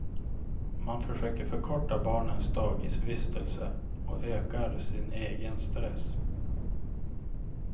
Man försöker förkorta barnens dagisvistelse och ökar sin egen stress.